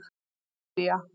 Kambódía